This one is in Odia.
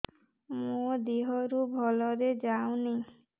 ମୋ ଦିହରୁ ଭଲରେ ଯାଉନି